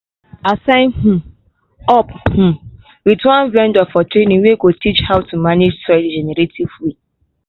i sign um up um with one vendor for training wey go teach how to manage soil the regenerative way.